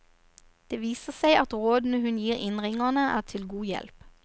Det viser seg at rådene hun gir innringerne er til god hjelp.